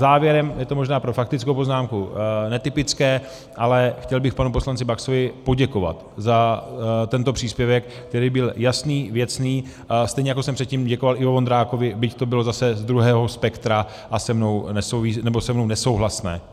Závěrem, je to možná pro faktickou poznámku netypické, ale chtěl bych panu poslanci Baxovi poděkovat za tento příspěvek, který byl jasný, věcný, stejně jako jsem předtím děkoval Ivo Vondrákovi, byť to bylo zase z druhého spektra a se mnou nesouhlasné.